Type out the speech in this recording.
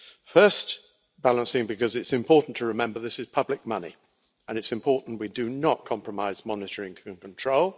Firstly because it is important to remember this is public money and it's important we do not compromise monitoring and control.